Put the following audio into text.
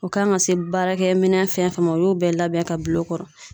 U kan ka se baarakɛminɛn fɛn o fɛn ma, o y'o bɛɛ labɛn ka bil'o kɔrɔ.